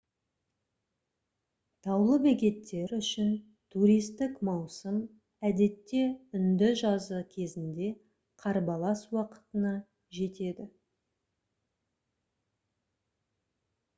таулы бекеттер үшін туристік маусым әдетте үнді жазы кезінде қарбалас уақытына жетеді